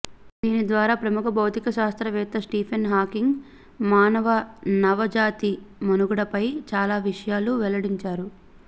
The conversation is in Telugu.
దీని ద్వారా ప్రముఖ భౌతికశాస్త్ర వేత్త స్టీఫెన్ హాకింగ్ మాననవ జాతి మనుగడపై చాలా విషయాలు వెల్లడించారు